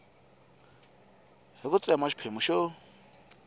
hi ku tsema xiphemu xo